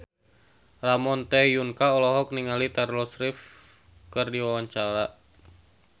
Ramon T. Yungka olohok ningali Taylor Swift keur diwawancara